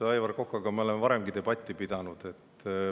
Aivar Kokaga me oleme varemgi debatti pidanud.